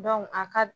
a ka